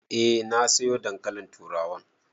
Eh na sayo dankalin turawan.